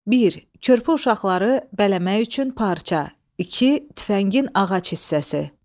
Bir, körpə uşaqları bələmək üçün parça; iki, tüfəngin ağac hissəsi.